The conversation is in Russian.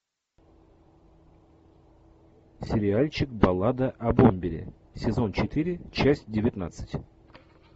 сериальчик баллада о бомбере сезон четыре часть девятнадцать